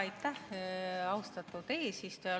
Aitäh, austatud eesistuja!